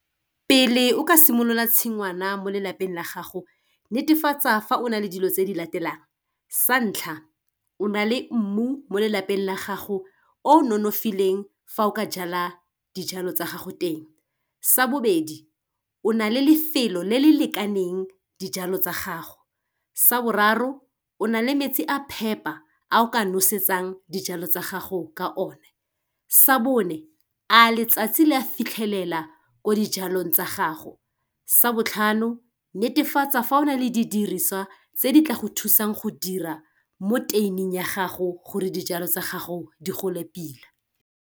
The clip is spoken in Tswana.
Pele o ka simolola tshingwana mo lelapeng la gago netefatsa fa o na le dilo tse di latelang, sa ntlha o na le mmu mo lelapeng la gago o nonofileng fa o ka jala dijalo tsa gago teng, sa bobedi o na le lefelo le le lekaneng dijalo tsa gago, sa boraro o na le metsi a phepa a o ka nosetsang dijalo tsa gago ka o ne, sa bone a letsatsi le a fitlhelela ko dijalong tsa gago, sa botlhano netefatsa fa o na le di diriswa tse di tla go thusang go dira mo tuin-ing ya gago gore dijalo tsa gago di gole pila.